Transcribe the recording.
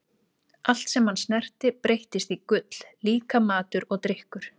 Allt sem hann snerti breyttist í gull, líka matur og drykkur.